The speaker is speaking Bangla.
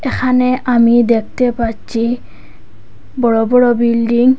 এখানে আমি দেখতে পাচ্ছি বড় বড় বিল্ডিং ।